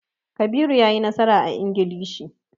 Kabiru ya yi nasara a Ingilishi.